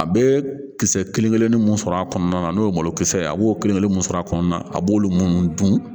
A bɛ kisɛ kelen kelennin mun sɔrɔ a kɔnɔna na n'o ye malokisɛ ye a b'o kelenkelen min sɔrɔ a kɔnɔna a b'olu minnu dun